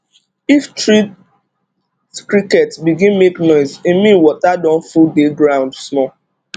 if tree cricket begin make noise e mean water don full dey ground small